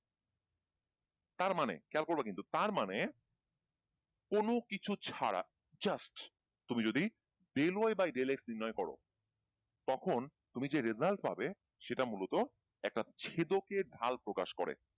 তারমানে খেয়াল করবা কিন্তু তার মানে কোনো কিছু ছাড়া just তুমি যদি del Y bye del X নির্ণয় করো তখন তুমি যে result পাবে সেটা মূলত একটা ছেদকের ঢাল প্রকাশ করে